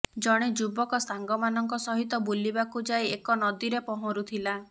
ଜଣେ ଯୁବକ ସାଙ୍ଗମାନଙ୍କ ସହିତ ବୁଲିବାକୁ ଯାଇ ଏକ ନଦୀରେ ପହଁରୁଥିଲା